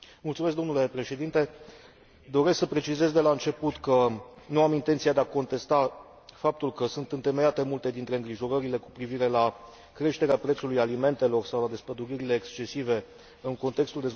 Doresc să precizez de la început că nu am intenția de a contesta faptul că sunt întemeiate multe dintre îngrijorările cu privire la creșterea prețurilor alimentelor sau la despăduririle excesive în contextul dezvoltării producției de biocombustibili.